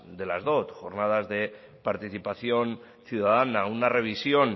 de las dot jornadas de participación ciudadana una revisión